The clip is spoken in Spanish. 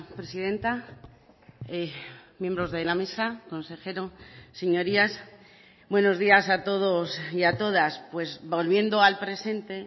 presidenta miembros de la mesa consejero señorías buenos días a todos y a todas pues volviendo al presente